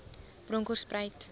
bronkhortspruit